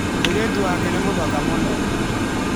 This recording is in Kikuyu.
Mũirĩtu wake nĩ mũthaka mũno.